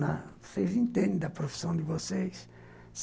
Na... vocês entendem da profissão de vocês.